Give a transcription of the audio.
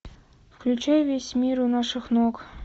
включай весь мир у наших ног